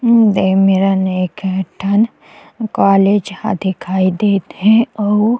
हम्म ए मेरन एक ठन कॉलेज ह दिखई देत हे अउ--